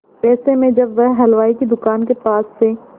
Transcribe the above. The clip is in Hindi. ऐसे में जब वह हलवाई की दुकान के पास से